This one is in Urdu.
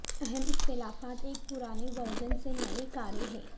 اہم اختلافات ایک پرانے ورژن سے نئے کاریں ہیں